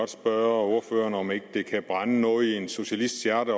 spørge ordføreren om ikke det kan brænde noget i en socialists hjerte